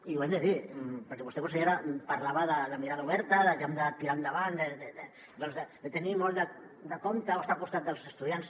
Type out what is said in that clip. i ho hem de dir perquè vostè consellera parlava de mirada oberta de que hem de tirar endavant doncs de tenir molt de compte o estar al costat dels estudiants